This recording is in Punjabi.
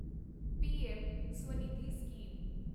PM Svanidhi scheme